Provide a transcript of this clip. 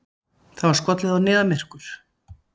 Það var skollið á niðamyrkur.